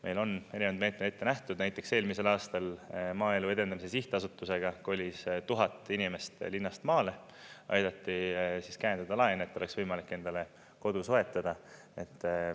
Meil on erinevaid meetmeid ette nähtud, näiteks eelmisel aastal Maaelu Edendamise Sihtasutusega kolis tuhat inimest linnast maale, aidati käendada laene, et oleks võimalik endale kodu soetada.